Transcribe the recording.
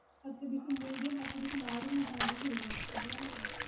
பத்து piece medium பத்து piece large கணக்கு வெச்சி எடுக்குறோம் அப்புடின்னா